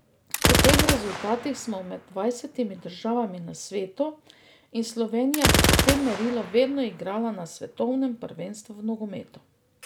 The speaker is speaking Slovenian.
Po teh rezultatih smo med dvajsetimi državami na svetu in Slovenija bi po tem merilu vedno igrala na svetovnem prvenstvu v nogometu.